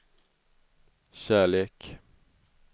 kärlek